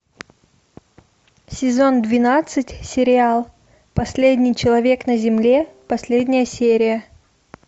сезон двенадцать сериал последний человек на земле последняя серия